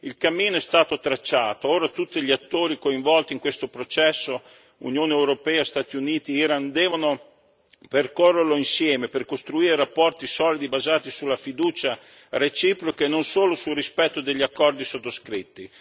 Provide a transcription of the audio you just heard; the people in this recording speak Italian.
Il cammino è stato tracciato, ora tutti gli attori coinvolti in questo processo Unione europea, Stati Uniti, Iran devono percorrerlo insieme, per costruire rapporti solidi basati sulla fiducia reciproca e non solo sul rispetto degli accordi sottoscritti.